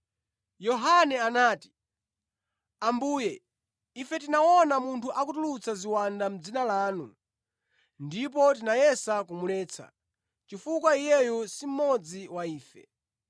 Yohane anati, “Ambuye, ife tinaona munthu akutulutsa ziwanda mʼdzina lanu ndipo tinayesa kumuletsa, chifukwa iyeyo si mmodzi wa ife.”